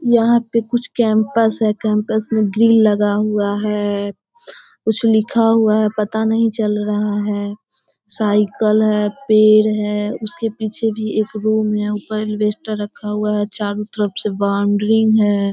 यहाँ पे कुछ कैंपस है। कैंपस में भीड़ लगा हुआ है। कुछ लिखा हुआ है पता नहीं चल रहा है। साइकिल है पेड़ है उसके पीछे भी एक रूम है। ऊपर एलवेस्टर रखा हुआ है। चारो तरफ से बाउंड्री है।